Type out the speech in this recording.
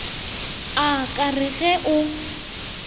a ka re ge o